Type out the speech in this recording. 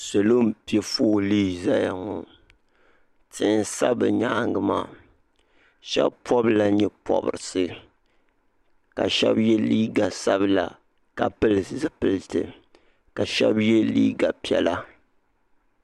Salo m piɛ foolii zaya tihi n sa bɛ nyaanga maa Sheba pobila nyɛ pobrisi ka sheba ye liiga sabila ka pili zipiliti ka sheba ye liiga piɛla.